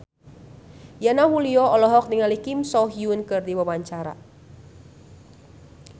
Yana Julio olohok ningali Kim So Hyun keur diwawancara